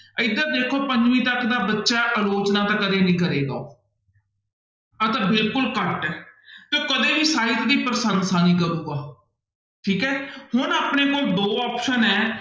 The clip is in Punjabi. ਇੱਧਰ ਦੇਖੋ ਪੰਜਵੀਂ ਤੱਕ ਦਾ ਬੱਚਾ ਅਲੋਚਨਾ ਤਾਂ ਕਦੇ ਨੀ ਕਰੇਗਾ ਆਹ ਤਾਂ ਬਿਲਕੁਲ ਕੱਟ ਹੈ ਤੇ ਉਹ ਕਦੇ ਵੀ ਸਾਹਿਤ ਦੀ ਪ੍ਰਸੰਸਾ ਨਹੀਂ ਕਰੇਗਾ, ਠੀਕ ਹੈ ਹੁਣ ਆਪਣੇ ਕੋਲ ਦੋ option ਹੈ